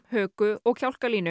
höku og